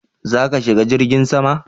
Za ka shiga jirgin sama?